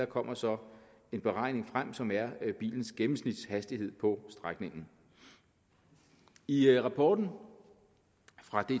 kommer så en beregning frem som er bilens gennemsnitshastighed på strækningen i rapporten fra